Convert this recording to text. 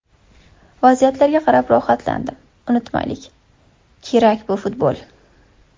Vaziyatlarga qarab rohatlandim, unutmaylik kerak, bu futbol.